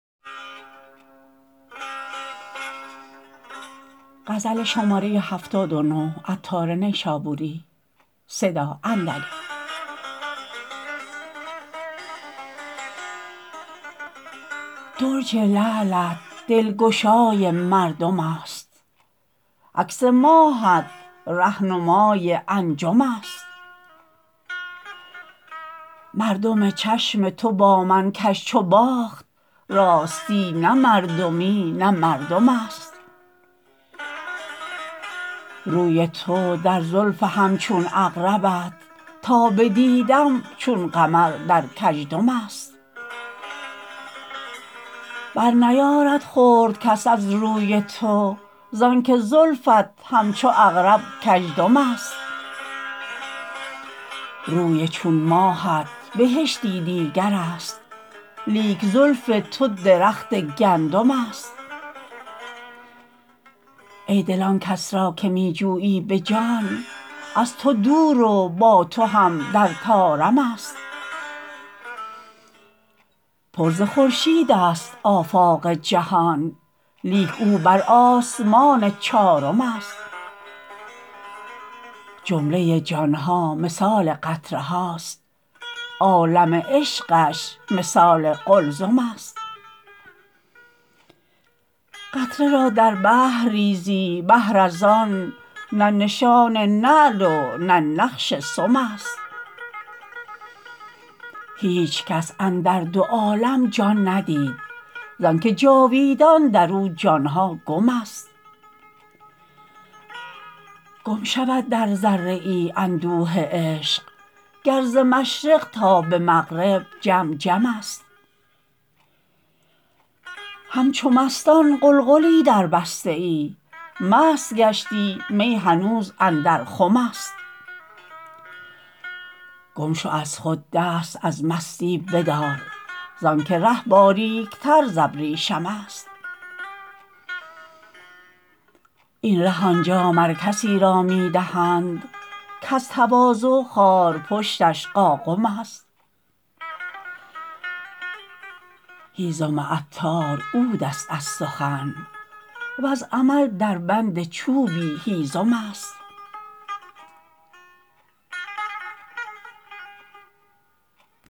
درج لعلت دلگشای مردم است عکس ماهت رهنمای انجم است مردم چشم تو با من کژ چو باخت راستی نه مردمی نه مردم است روی تو در زلف همچون عقربت تا بدیدم چون قمر در کژدم است برنیارد خورد کس از روی تو زانکه زلفت همچو عقرب کج دم است روی چون ماهت بهشتی دیگر است لیک زلف تو درخت گندم است ایدل آنکس را که می جویی به جان از تو دور و با تو هم در طارم است پر ز خورشید است آفاق جهان لیک او بر آسمان چارم است جمله جان ها مثال قطره هاست عالم عشقش مثال قلزم است قطره را در بحر ریزی بهر از آن نه نشان نعل و نه نقش سم است هیچ کس اندر دو عالم جان ندید زانکه جاویدان درو جان ها گم است گم شود در ذره ای اندوه عشق گر ز مشرق تا به مغرب جم جم است همچو مستان غلغلی دربسته ای مست گشتی می هنوز اندر خم است گم شو از خود دست از مستی بدار زانکه ره باریکتر زابریشم است این ره آنجا مر کسی را می دهند کز تواضع خارپشتش قاقم است هیزم عطار عود است از سخن وز عمل در بند چوبی هیزم است